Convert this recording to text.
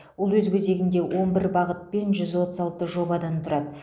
ол өз кезегінде он бір бағыт пен жүз отыз алты жобадан тұрады